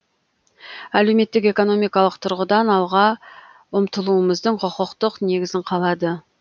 әлеуметтік экономикалық тұрғыдан алға ұмтылуымыздың құқықтық негізін қалады